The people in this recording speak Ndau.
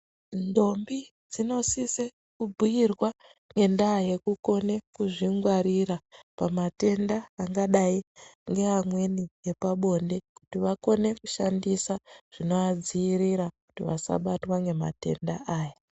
Ndombi dzinosise kubhuyirwa ngendaa yekukone kuzvingwarira pamatenda angadai ngeamweni epabonde kuti vakone kushandisa zvinoadzivirira kuti vakone kusabatwa ngematenda aya.